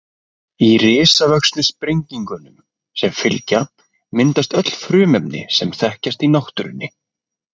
í risavöxnu sprengingunum sem fylgja myndast öll frumefnin sem þekkjast í náttúrunni